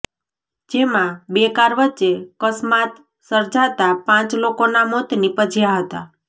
જેમાં બે કાર વચ્ચે કસ્માત સર્જાતા પાંચ લોકોના મોત નિપજ્યા હતા